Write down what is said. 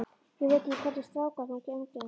Ég veit ekki hvernig stráka þú umgengst.